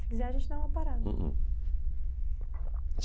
Se quiser a gente dá uma parada. Hum hum